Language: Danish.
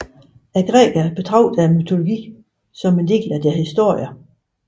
Grækerne betragtes mytologi som en del af deres historie